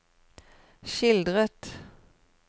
skildret